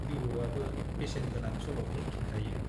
बिबौवाबो बेसेन गोनां सल'फोर खिन्थायो।